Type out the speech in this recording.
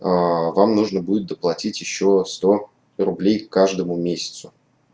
аа вам нужно будет доплатить ещё сто рублей к каждому месяцу